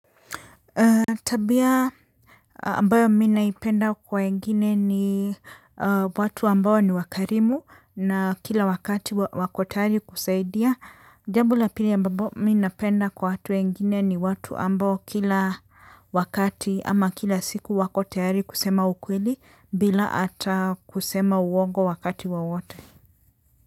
Tabia ambayo mimi naipenda kwa wengine ni watu ambao ni wakarimu na kila wakati wako tayari kusaidia jambo la pili ambapo mimi napenda kwa watu wengini ni watu ambao kila wakati ama kila siku wako tayari kusema ukweli bila hata kusema uongo wakati wowote.